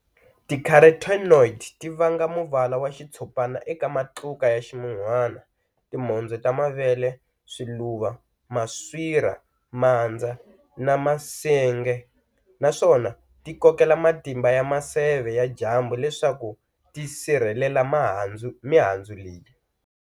Ti Caroteniod ti vanga muvala wa xitshopana eka matluka ya ximun'wana, tindzoho ta mavele, swiluva, maswira, mandza na minsenga, naswona ti kokela matimba ya maseve ya dyambu leswaku ti sirhelela mihandzu leyi.